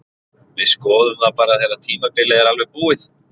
Við skoðum það bara þegar tímabilið er alveg búið.